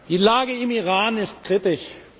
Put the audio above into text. Die Lage im Iran ist kritisch.